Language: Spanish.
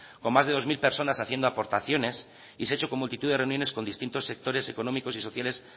con más de dos mil personas haciendo aportaciones y se ha hecho con multitud de reuniones con distintos sectores económicos y sociales